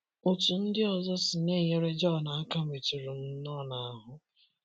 Otú ndị ọzọ si na - enyere Jon aka metụrụ m nnọọ n’ahụ́.